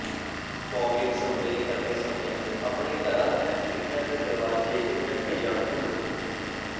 fogging spray ਕਰਦੇ ਸਮੇਂ ਆਪਣੇ ਘਰਾਂ ਦੀਆਂ ਖਿੜਕੀਆਂ ਤੇ ਦਰਵਾਜੇ ਰੱਖੇ ਜਾਣ ਖੁੱਲੇ